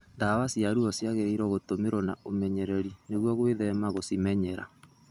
Ndawa cia ruo ciangĩrĩirwo gũtũmirwo na ũmenyereri nĩguo gwĩthema gũcimenyera